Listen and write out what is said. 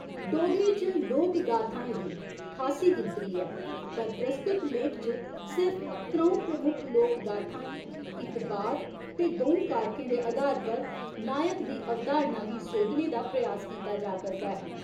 डोगरी च लोकगाथाएं दी खासी गिनतरी ऐ, पर प्रस्तुत लेख च सिर्फ त्र'ऊं प्रमुख लोकगाथाएं इक बार ते द'ऊं कारकें दे आधार पर 'नायक' दी अवधारणा गी सोधने दा प्रयास कीता जा करदा ऐ।